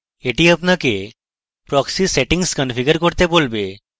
এটি আপনাকে proxy settings configure করতে বলবে